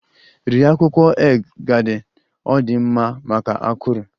Rie akwukwo egg garden! Ọ dị mma maka akụrụ.